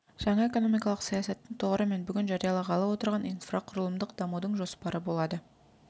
жаңа экономикалық саясаттың тұғыры мен бүгін жариялағалы отырған инфрақұрылымдық дамудың жоспары болады